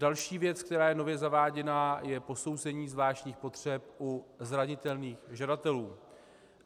Další věc, která je nově zaváděna, je posouzení zvláštních potřeb u zranitelných žadatelů.